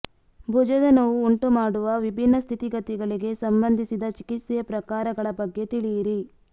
ಭುಜದ ನೋವು ಉಂಟುಮಾಡುವ ವಿಭಿನ್ನ ಸ್ಥಿತಿಗತಿಗಳಿಗೆ ಸಂಬಂಧಿಸಿದ ಚಿಕಿತ್ಸೆಯ ಪ್ರಕಾರಗಳ ಬಗ್ಗೆ ತಿಳಿಯಿರಿ